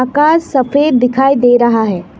सफेद दिखाई दे रहा है।